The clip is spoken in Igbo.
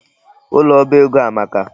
Ụlọ oba ego a amaka.